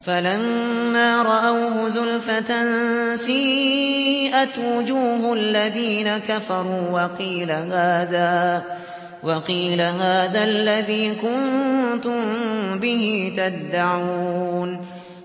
فَلَمَّا رَأَوْهُ زُلْفَةً سِيئَتْ وُجُوهُ الَّذِينَ كَفَرُوا وَقِيلَ هَٰذَا الَّذِي كُنتُم بِهِ تَدَّعُونَ